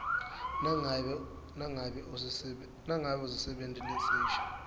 nangabe usisebenti lesisha